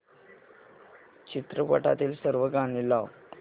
चित्रपटातील सर्व गाणी लाव